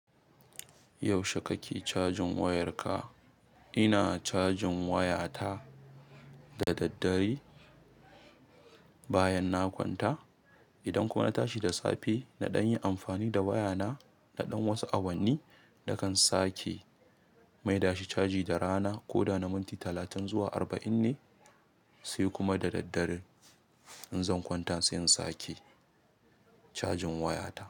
Yaushe kake cajin wayarka? Ina cajin wayata da daddare bayan na kwanta. Idan kuma na tashi da safe, na ɗan yin amfani da wayana, na ɗan wasu awanni na kan sake mai dashi caji da rana. Ko da na minti talatin zuwa arba'in ne sai kuma da daddare in zan kwanta sai in sake cajin wayata.